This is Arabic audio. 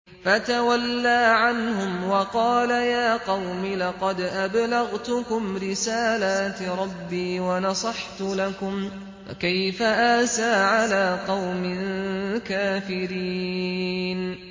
فَتَوَلَّىٰ عَنْهُمْ وَقَالَ يَا قَوْمِ لَقَدْ أَبْلَغْتُكُمْ رِسَالَاتِ رَبِّي وَنَصَحْتُ لَكُمْ ۖ فَكَيْفَ آسَىٰ عَلَىٰ قَوْمٍ كَافِرِينَ